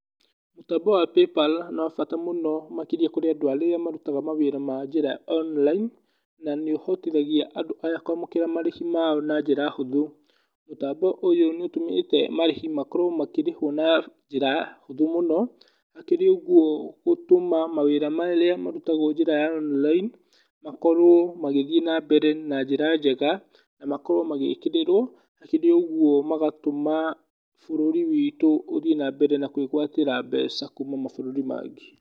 Mũtambo wa PayPal nĩ wa bata mũno makĩria kũrĩ andũ arĩa marutaga mawĩra ma njĩra ya online, na nĩũhotithagia andũ aya kũamũkĩra marĩhi mao na njĩra hũthũ. Mũtambo ũyũ nĩũtũmĩte marĩhi makorwo makĩrĩhwo na njĩra hũthũ mũno, hakĩrĩ ũguo gũtũma mawĩra marĩa marutagwo njĩra ya online makorwo magĩthiĩ na mbere na njĩra njega, na makorwo magĩkĩrĩrwo, hakĩrĩ ũguo magatũma bũrũri witũ ũthiĩ na mbere na kwĩgwatĩra mbeca kuuma mabũrũri mangĩ.